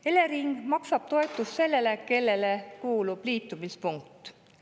Elering maksab toetust sellele, kellele kuulub liitumispunkt.